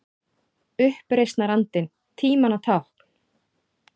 Uppreisnarandinn- tímanna tákn?